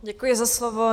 Děkuji za slovo.